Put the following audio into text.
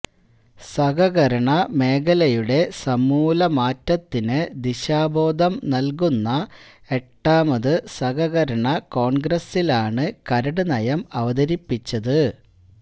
സഹകരണ മേഖലയുടെ സമൂലമാറ്റത്തിന് ദിശാബോധം നല്കുന്ന എട്ടാമത് സഹകരണ കോണ്ഗ്രസ്സിലാണ് കരട് നയം അവതരിപ്പിച്ചത്